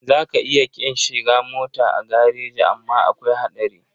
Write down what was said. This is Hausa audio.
Za ka iya ƙin shiga mota a gareji amma akwai haɗari.